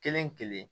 Kelen kelen